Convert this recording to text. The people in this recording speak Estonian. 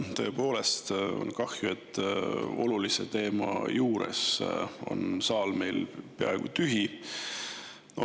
Tõepoolest on kahju, et olulise teema on saal meil peaaegu tühi.